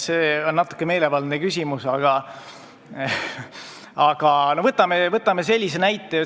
See on natuke meelevaldne küsimus, aga võtame ühe näite.